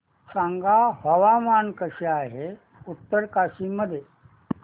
सांगा हवामान कसे आहे उत्तरकाशी मध्ये